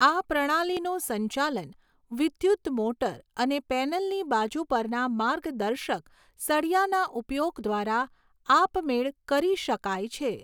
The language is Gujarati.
આ પ્રણાલીનું સંચાલન વિદ્યુત મોટર અને પૅનલની બાજુ પરના માર્ગદર્શક સળિયાના ઉપયોગ દ્વારા આપમેળ કરી શકાય છે.